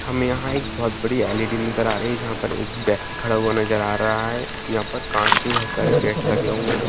हमे यहां एक बहुत बड़ी एल.ई.डी. आ रही है जहां पर एक व्यक्ति खड़ा हुआ नजर आ रहा है यहां पर कांच के बहुत सारे गेट लगे हुए है।